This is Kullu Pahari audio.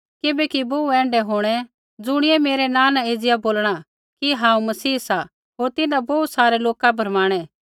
किबैकि बोहू ऐण्ढै हौंणै ज़ुणी मेरै नाँ न एज़िया बोलणा कि हांऊँ मसीह सा होर तिन्हां बोहू सारै लोका भरमाणै